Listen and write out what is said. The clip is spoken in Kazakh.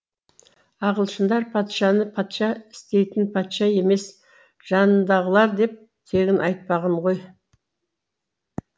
ағылшындар патшаны патша істейтін патша емес жанындағылар деп тегін айтпаған ғой